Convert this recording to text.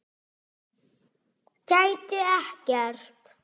Gæti ekkert.